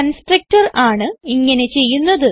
constructor ആണ് ഇങ്ങനെ ചെയ്യുന്നത്